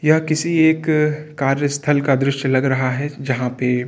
यह किसी एक कार्य स्थल का दृश्य लग रहा है जहाँ पर --